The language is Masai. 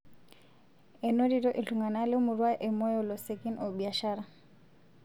Enotito ltung'ana le murua e Moyo losekin o biashara